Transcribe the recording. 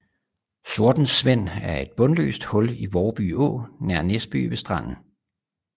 Sortensvend er et bundløst hul i Vårby Å nær Næsby ved Stranden